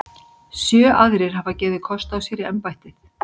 Sjö aðrir hafa gefið kost á sér í embættið.